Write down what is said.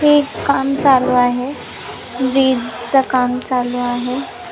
ते एक काम चालु आहे वीज काम चालु आहे.